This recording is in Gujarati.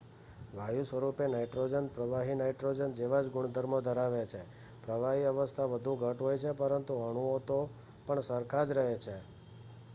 વાયુ સ્વરૂપે નાઈટ્રોજન પ્રવાહી નાઈટ્રોજન જેવા જ ગુણધર્મો ધરાવે છે પ્રવાહી અવસ્થા વધુ ઘટ્ટ હોય છે પરંતુ અણુઓ તો પણ સરખા જ રહે છે